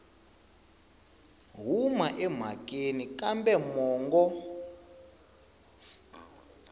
huma emhakeni kambe mongo wa